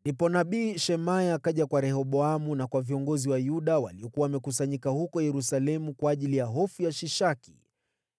Ndipo nabii Shemaya akaja kwa Rehoboamu na kwa viongozi wa Yuda waliokuwa wamekusanyika huko Yerusalemu kwa ajili ya hofu ya Shishaki